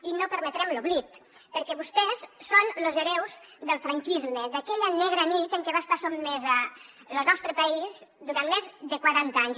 i no permetrem l’oblit perquè vostès són los hereus del franquisme d’aquella negra nit a què va estar sotmès lo nostre país durant més de quaranta anys